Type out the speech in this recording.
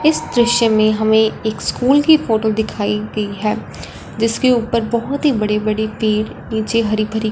इस दृश्य में हमें एक स्कूल की फोटो दिखाई गई है जिसके ऊपर बहुत ही बड़ी बड़ी तीर नीचे हरी भरी--